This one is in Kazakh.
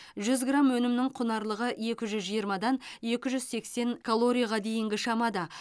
жүз грамм өнімнің құнарлылығы екі жүз жиырмадан екі жүз сексен калорияға дейінгі шамада